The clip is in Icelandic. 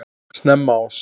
Snemma árs